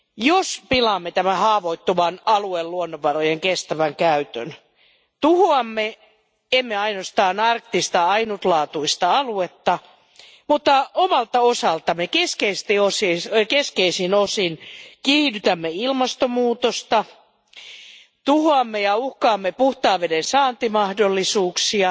Jos pilaamme tämän haavoittuvan alueen luonnonvarojen kestävän käytön, tuhoamme emme ainoastaan arktista ainutlaatuista aluetta, mutta omalta osaltamme keskeisin osin kiihdytämme ilmastonmuutosta, tuhoamme ja uhkaamme puhtaan veden saantimahdollisuuksia